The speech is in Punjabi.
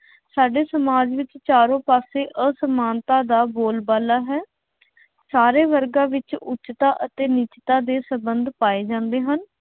ਸਾਡੇ ਸਮਾਜ ਵਿੱਚ ਚਾਰੋਂ ਪਾਸੇ ਅਸਮਾਨਤਾ ਦਾ ਬੋਲਬਾਲਾ ਹੈ। ਸਾਰੇ ਵਰਗਾਂ ਵਿੱਚ ਉੱਚਤਾ ਅਤੇ ਨੀਚਤਾ ਦੇ ਸੰਬੰਧ ਪਾਏ ਜਾਂਦੇ ਹਨ।